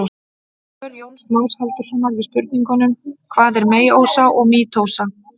Og svör Jóns Más Halldórssonar við spurningunum: Hvað er meiósa og mítósa?